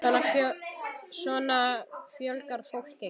Svona fjölgar fólk sér ekki!